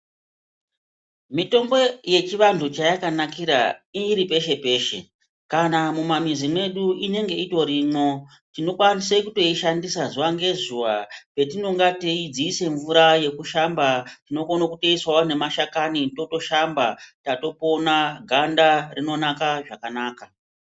Mitombo yechivantu payakanakira iri peshe peshe kana mumamizi medu inenge irimo tinokwanisa kushandisa zuwa ngezuwa patinenge teidzisa mvura yekushamba tinokona kuisawo nemashakani tatopona ganda rinonaka zvakanaka.